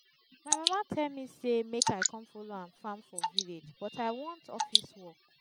my mama tell me say make i come follow am farm for village but i want office work